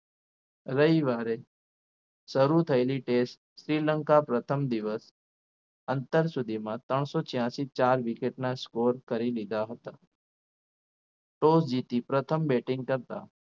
રવિવારે શરૂ થયેલી test શ્રીલંકા પ્રથમ દિવસ અત્યાર સુધીમાં ત્રણસો છ્યાસી ચાર wicket ના score કરી દીધા હતા toss જીતી પ્રથમ batting કરતા